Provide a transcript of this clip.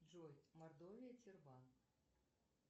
джой мордовия тюрбан